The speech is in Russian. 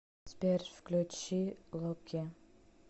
сбер включи локи